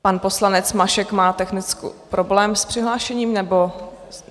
Pan poslanec Mašek má technický problém s přihlášením, nebo...?